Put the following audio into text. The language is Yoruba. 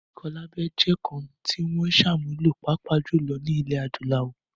Ìkọlábẹ jẹ́ àṣà kan tí wọ́n ń sàmúlò, pàápàá jùlọ ní ilẹ̀ adúláwò